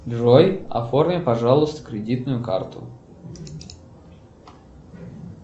джой оформи пожалуйста кредитную карту